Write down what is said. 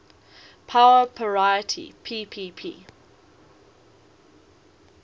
power parity ppp